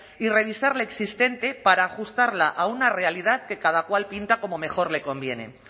y revisar la existente para ajustarla a una realidad que cada cual pinta como mejor le conviene